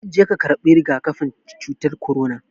Je ka karɓi rigakafin cutar korona